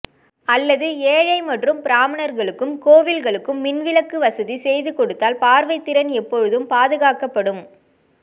அல்லது ஏழை மற்றும் பிராமணர்களுக்கும் கோவில்களுக்கும் மின்விளக்கு வசதி செய்து கொடுத்தால் பார்வைத்திறன் எப்போதும் பாதுகாக்கப்படும்